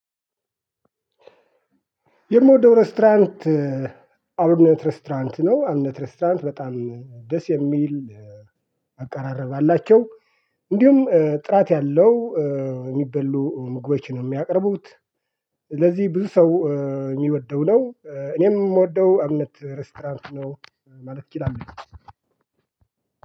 የምወደው ሬስቶራንት አብነት ሬስቶራንት ነው እብነት ሬስቶራንት በጣም ደስ የሚል አቀራረብ አላቸው እንዲሁም ጥራት ያለው የሚበሉ ምግቦችን ነው የሚያቀርቡት። ስለዚህ ብዙ ሰው የሚወደው ነው እኔም የምወደው አብነት ሬስቶራንት ነው ማለት እችላለሁ።